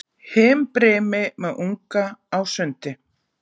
himbrimi með unga á sundi